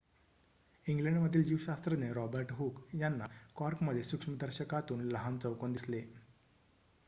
इंग्लंडमधील जीवशास्त्रज्ञ Robert Hooke यांना कॉर्कमध्ये सूक्ष्मदर्शकातून लहान चौकोन दिसले